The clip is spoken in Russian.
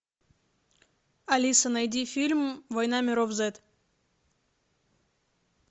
алиса найди фильм война миров зет